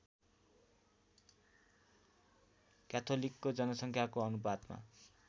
क्याथोलिकको जनसङ्ख्याको अनुपातमा